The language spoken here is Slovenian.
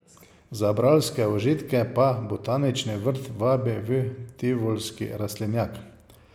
Za bralske užitke pa botanični vrt vabi v tivolski rastlinjak.